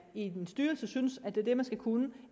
i en styrelse synes er det man skal kunne